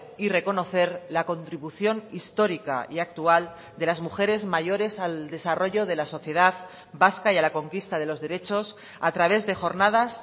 y reconocer la contribución histórica y actual de las mujeres mayores al desarrollo de la sociedad vasca y a la conquista de los derechos a través de jornadas